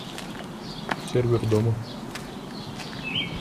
сервер дома